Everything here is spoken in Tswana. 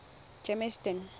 germiston